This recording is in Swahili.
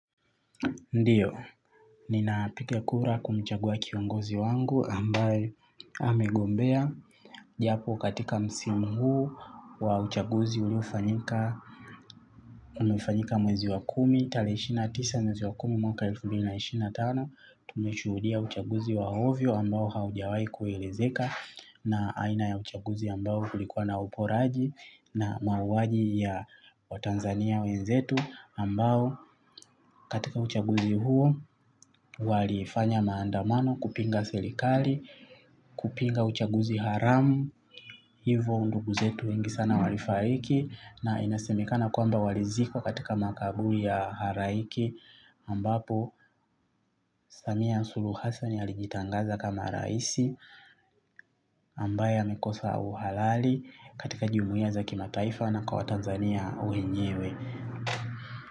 Ndiyo, ninapiga kura kumchagua kiongozi wangu ambaye amegombea. Japo katika msimu huu wa uchaguzi uliofanyika, umefanyika mwezi wa kumi, tarehe ishirini na tisa mwezi wa kumi mwaka elfu mbili na ishirini na tano. Tumeshuhudia uchaguzi wa ovyo ambao haujawai kuelezeka na aina ya uchaguzi ambayo kulikuwa na uporaji na mauwaji ya waTanzania wenzetu ambao katika uchaguzi huo walifanya maandamano kupinga serikali, kupinga uchaguzi haramu, hivo ndugu zetu wengi sana walifariki na inasemekana kwamba walizikwa katika makaburi ya halaiki ambapo Samia Hasulu Hassani alijitangaza kama rais ambaye amekosa uhalali katika jumuiya za kimataifa na kwa watanzania wenyewe.